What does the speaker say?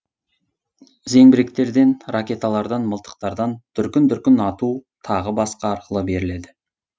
зеңбіректерден ракеталардан мылтықтардан дүркін дүркін ату тағы басқа арқылы беріледі